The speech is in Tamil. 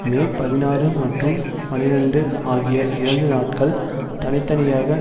மே பதினாறுமற்றும் பனிரண்டுஆகிய இரண்டு நாட்கள் தனி தனியாக